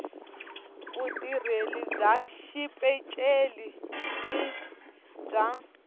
vutirheli bya xipeceli na bya